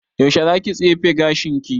Yaushe za ki tsefe gashin ki?